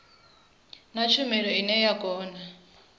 na tshumelo ine ya kona